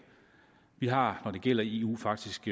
vi har når det gælder eu faktisk